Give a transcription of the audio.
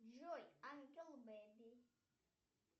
джой ангел бэби